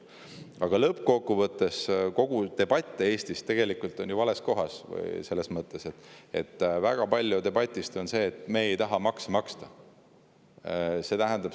Aga lõppkokkuvõttes käib kogu debatt Eestis ju vales kohas, selles mõttes, et väga debatist on see, et "me ei taha makse maksta".